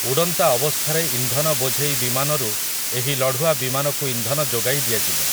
ଉଡ଼ନ୍ତା ଅବସ୍ଥାରେ ଇନ୍ଧନ ବୋଝେଇ ବିମାନରୁ ଏହି ଲଢ଼ୁଆ ବିମାନକୁ ଇନ୍ଧନ ଯୋଗାଇ ଦିଆଯିବ ।